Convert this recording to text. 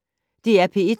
DR P1